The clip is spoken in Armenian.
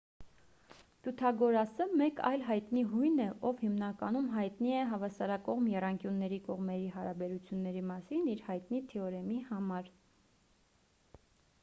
պյութագորասը մեկ այլ հայտնի հույն է ով հիմնականում հայտնի է հավասարակողմ եռանկյունների կողմերի հարաբերությունների մասին իր հայտնի թեորեմի համար